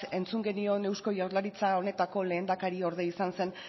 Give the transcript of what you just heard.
entzun genion eusko jaurlaritza honetako lehendakariorde izan zen